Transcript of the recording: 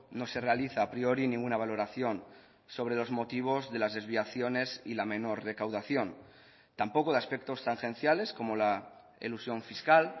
no se realiza a priori ninguna valoración sobre los motivos de las desviaciones y la menor recaudación tampoco de aspectos tangenciales como la elusión fiscal